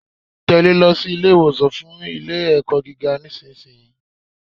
Tèlé e lọ sí Ilé ìwòsàn fun Ilé ẹ̀kọ́ gíga nísìnyí